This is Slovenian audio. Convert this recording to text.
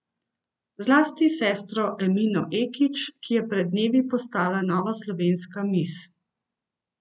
Zlasti sestro Emino Ekić, ki je pred dnevi postala nova slovenska mis.